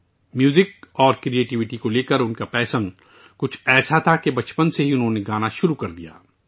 موسیقی اور تخلیقی صلاحیتوں کے تئیں اس کا جنون ایسا تھا کہ اس نے بچپن سے ہی گانا شروع کر دیا تھا